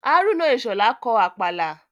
Hárúnà Ìṣhọ̀lá kọ Àpàlà